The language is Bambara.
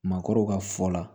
Maakɔrɔw ka fɔ la